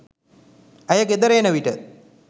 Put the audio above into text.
ඇය ගෙදර එන විට